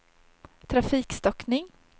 trafikstockning